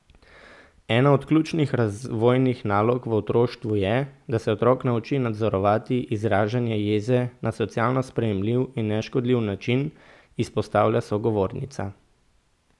Ena od ključnih razvojnih nalog v otroštvu je, da se otrok nauči nadzorovati izražanje jeze na socialno sprejemljiv in neškodljiv način, izpostavlja sogovornica.